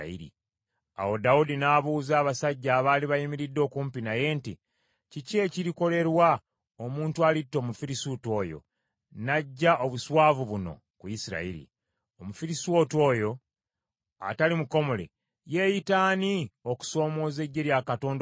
Awo Dawudi n’abuuza abasajja abaali bamuyimiridde okumpi nti, “Kiki ekirikolerwa omuntu alitta Omufirisuuti oyo, n’aggya obuswavu buno ku Isirayiri? Omufirisuuti oyo atali mukomole yeeyita ani okusoomooza eggye lya Katonda omulamu?”